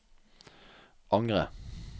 angre